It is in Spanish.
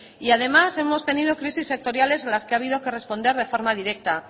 y además hemos tenido crisis sectoriales en las que ha habido que responder de forma directa